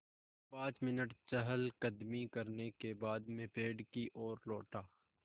पाँच मिनट चहलकदमी करने के बाद मैं पेड़ की ओर लौटा